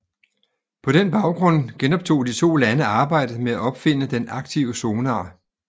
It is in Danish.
På den baggrund genoptog de to lande arbejdet med opfinde den aktive sonar